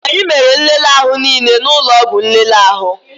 Anyị mere nlele ahụ niile n'ụlọ ọgwụ nlele ahụ